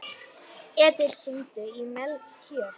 Edil, hringdu í Melkjör.